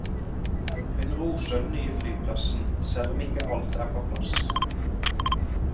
Hun roser den nye flyplassen, selv om ikke alt er på plass.